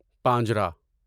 پانجرا